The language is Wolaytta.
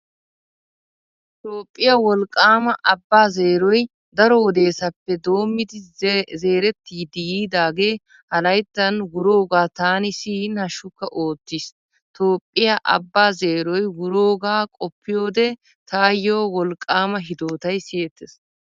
Toophphiyaa wolqqaama Abba zeeroy daro wodeesappe doommidi zeerettidi yiidaagee ha layttan wuroogaa taani siyin hashshukka oottiis. Toophphiyaa Abbaa zeeroy wuroogaa qoppiyoode taayyo wolqqaama hidootay siyettees.